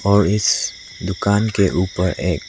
और इस दुकान के ऊपर एक--